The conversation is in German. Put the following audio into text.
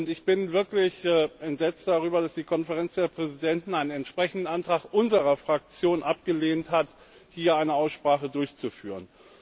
Ich bin wirklich entsetzt darüber, dass die Konferenz der Präsidenten einen entsprechenden Antrag unserer Fraktion abgelehnt hat, hier eine Aussprache durchzuführen.